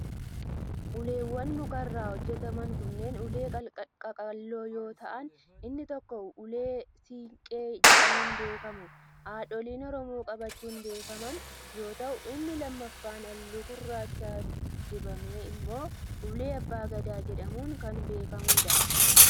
Uleewwan muka irraa hojjataman kunneen ulee qaqalloo yoo ta'an inni tokko ulee siinqee jedhamuun beekamu haadholiin Oromoo qabachuun beekaman yoo ta'u, inni lammaffaan haalluu gurraacha dibame immoo ulee abbaa gadaa jedhamuun kan beekamuu dha.